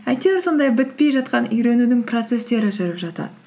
әйтеуір сондай бітпей жатқан үйренудің процесстері жүріп жатады